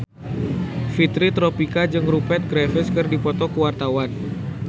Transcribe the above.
Fitri Tropika jeung Rupert Graves keur dipoto ku wartawan